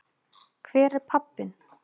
Hver er pabbinn?